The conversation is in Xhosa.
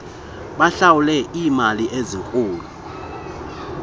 bahlawule iimali ezinkulu